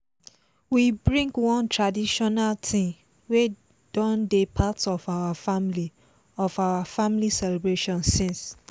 we bring one traditional thing wey don dey part of her family of her family celebration since.